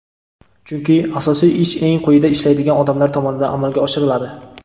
Chunki asosiy ish eng quyida ishlaydigan odamlar tomonidan amalga oshiriladi.